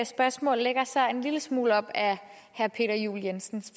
spørgsmål lægger sig en lille smule op ad herre peter juel jensens